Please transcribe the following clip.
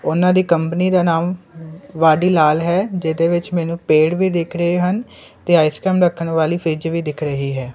ਉਹਨਾਂ ਦੀ ਕੰਪਨੀ ਦਾ ਨਾਮ ਵਾਡੀਲਾਲ ਹੈ ਜਿਹਦੇ ਵਿੱਚ ਮੈਨੂੰ ਪੇੜ ਵੀ ਦਿਖ ਰਹੇ ਹਨ ਤੇ ਆਈਸਕਰੀਮ ਰੱਖਣ ਵਾਲੀ ਫ੍ਰਿੱਜ ਦਿਖ ਰਹੀ ਹੈ